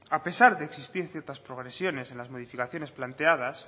a pesar de existir ciertas progresiones en las modificaciones planteadas